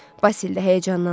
Basil də həyəcanlandı.